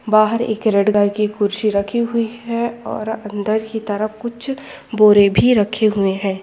बहार एक red colour की खुर्सी रखी हुई है और अंदर की तरफ कुछ बोरे भी रखे हुए है।